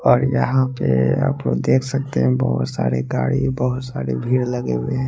और यहा पे आप लोग देख सकते है बोहोत सारी गाडी बोहोत सारी भीड़ लही हुई है।